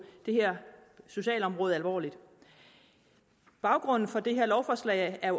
det her socialområde alvorligt at baggrunden for det her lovforslag